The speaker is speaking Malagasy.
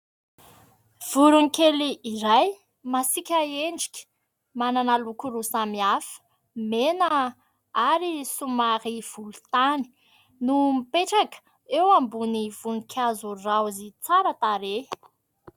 Voron-kely iray, masiaka endrika, manana loko roa samihafa, mena ary somary volontany no mipetraka eo ambony voninkazo raozy tsara tarehy.